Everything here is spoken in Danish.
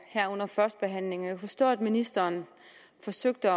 her under førstebehandlingen og forstå at ministeren forsøgte